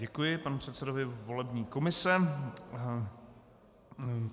Děkuji panu předsedovi volební komise.